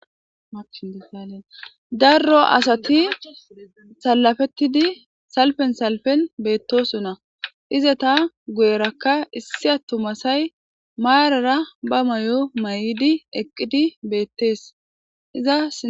daro asati salafettidi salfen salfen beettosonna iza ta gu7erakka issi attumasay maarara ba may7o may7idi eqqidi beettees iza